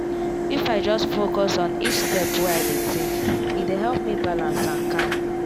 if i just focus on each step wey i dey take e dey help me balance and calm.